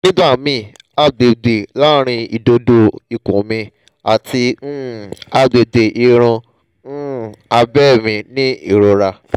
nigbamii agbegbe laarin idodo ikun mi ati um agbegbe irun um abe mi ni irora